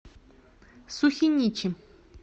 сухиничи